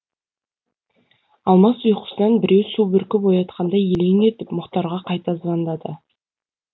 алмас ұйқысынан біреу су бүркіп оятқандай елең етіп мұхтарға қайта звондады